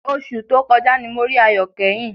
Oṣù tó kọjá ni mo rí Ayọ̀ kẹ́yìn